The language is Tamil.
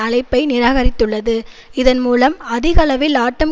அழைப்பை நிராகரித்துள்ளது இதன் மூலம் அதிகளவில் ஆட்டம்